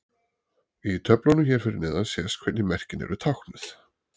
Í töflunum hér fyrir neðan sést hvernig merkin eru táknuð.